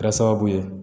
Kɛra sababu ye